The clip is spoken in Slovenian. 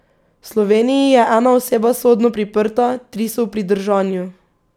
V Sloveniji je ena oseba sodno priprta, tri so v pridržanju.